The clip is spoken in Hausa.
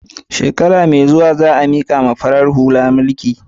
Shekara mai zuwa za a mikawa farar hula mulki.